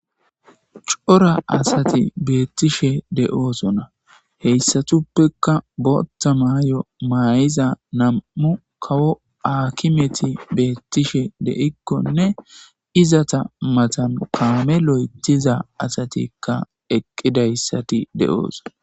Cora asati beettishe de7oosona heyssatuppekka botta maay7o maayiza nam7u kawo akimeti beettishe de7ikkonne izata matan paame lo7etiza asatikka eqqidayssati de7ooso.